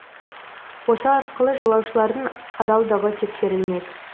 осы арқылы жолаушылардың адалдығы тексерілмек